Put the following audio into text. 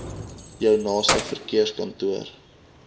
jou naaste verkeerskantoor